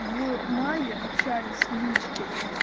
в мае общались в личке